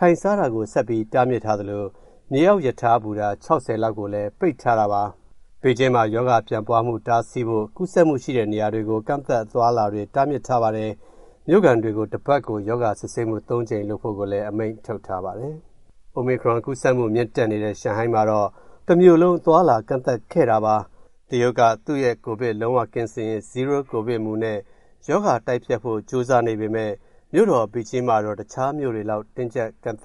ထိုင်စားတာကိုလည်း ဆက်ပြီးတားမြစ်ထားသလို မြေအောက်ရထားဘူတာ ၆၀ လောက်ကို ပိတ်ထားတာပါ။ ဘေဂျင်းမှာ ရောဂါပြန့်ပွားမှုတားဆီးဖို့ ကူးစက်မှုရှိတဲ့နေရာတွေကို ကန့်သတ် အသွားအလာတွေတားမြစ်ထားပါတယ်။ မြို့ခံတွေ တပတ်ကို ရောဂါစစ်ဆေးမှု ၃ ကြိမ်လုပ်ဖို့လည်း အမိန့်ထုတ် ထားပါတယ်။ အိုမီခရွန်ကူးစက်မှု မြင့်တက်နေတဲ့ ရှန်ဟိုင်းမှာတော့ တမြို့လုံးကို အသွားအလာတွေကန့်သတ်ခဲ့တာပါ။ တရုတ်က သူ့ရဲ့ ကိုဗစ်လုံးဝကင်းစင်ရေး "zero-COVID" မူနဲ့ ရောဂါတိုက်ဖျက်ဖို့ ကြိုးစားနေပေမယ့် မြို့တော် ဘေဂျင်းမှာတော့ တခြားမြို့တွေလောက် တင်းကြပ်ကန့်သ